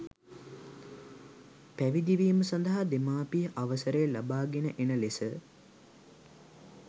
පැවිදිවීම සඳහා දෙමාපිය අවසරය ලබාගෙන එන ලෙස